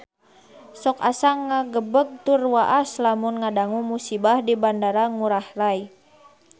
Sok asa ngagebeg tur waas lamun ngadangu musibah di Bandara Ngurai Rai